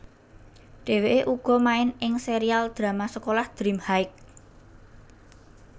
Dheweke uga main ing serial drama sekolah Dream High